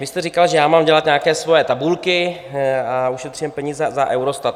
Vy jste říkal, že já mám dělat nějaké svoje tabulky a ušetříme peníze za Eurostat.